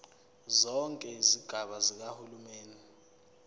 zonke izigaba zikahulumeni